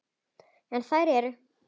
En þær eru